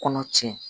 Kɔnɔ tiɲɛ